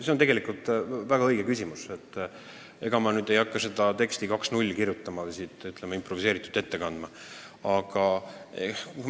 See on tegelikult väga õige küsimus, aga ega ma ei hakka seda teksti 2.0 siin improviseeritult kirjutama ja ette kandma.